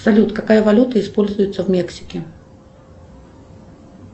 салют какая валюта используется в мексике